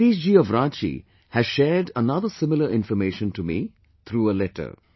Satish ji of Ranchi has shared another similar information to me through a letter